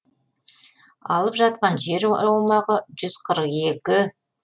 алып жатқан жер аумағы жүз қырық екі